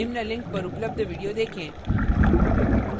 निम्न link पर उपलब्ध video देखें